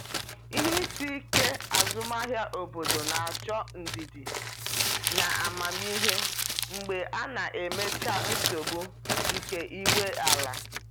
Ihe isi ike azụmahịa obodo na-achọ ndidi na amamihe mgbe a na-emechaa nsogbu nke ị nwe ala.